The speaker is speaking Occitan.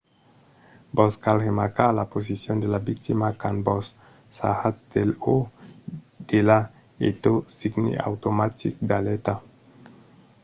vos cal remarcar la posicion de la victima quand vos sarratz d’el o d’ela e tot signe automatic d’alèrta